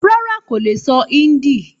Rárá, kò le sọ híńdì